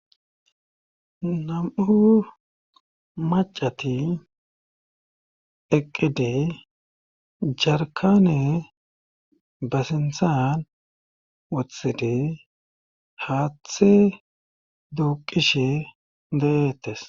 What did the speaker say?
nam7u macati eqqide jarkane basinthan wothida haaththe duuqishe de7eetes